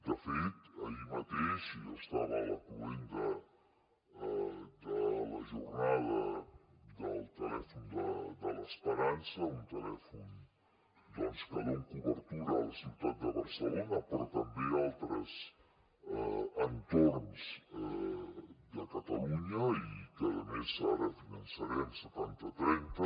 de fet ahir mateix jo estava a la cloenda de la jornada del telèfon de l’esperança un telèfon doncs que dona cobertura a la ciutat de barcelona però també a altres entorns de catalunya i que a més ara finançarem setanta trenta